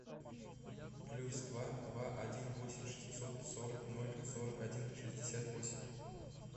плюс два два один восемь шестьсот сорок ноль сорок один шестьдесят восемь